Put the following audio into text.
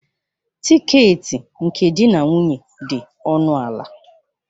Tiketi nke di na nwunye dị ọnụ ala